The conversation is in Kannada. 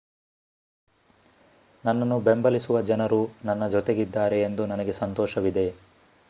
ನನ್ನನ್ನು ಬೆಂಬಲಿಸುವ ಜನರು ನನ್ನ ಜೊತೆಗಿದ್ದಾರೆ ಎಂದು ನನಗೆ ಸಂತೋಷವಿದೆ